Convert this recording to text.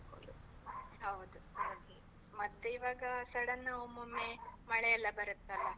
ಹೌದು ಹಾಗೆ, ಮತ್ತೇ ಈವಾಗ sudden ನಾವ್ ಒಮ್ಮೊಮ್ಮೆ, ಮಳೆ ಎಲ್ಲ ಬರತ್ತಲ್ಲ.